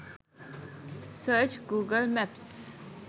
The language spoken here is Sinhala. search google maps